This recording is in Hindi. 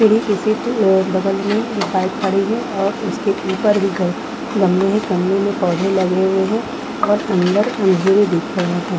सीढ़ी की सीट अ बगल में एक बाइक खड़ी है और उसके ऊपर भी ग गमले है गमले में पोधै लगे हुए है और अंदर अंधेर दिख रहे हैं।